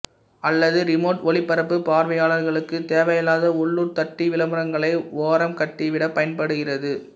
அல்லது ரிமோட் ஒலிபரப்புப் பார்வையாளர்களுக்கு தேவையில்லாத உள்ளூர் தட்டி விளம்பரங்களை ஓரம் கட்டிவிட பயன்படுகிறது